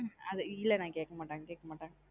ஹம் அதா இல்ல நா கேக்க மாட்டாங்க கேக்க மாட்டாங்க.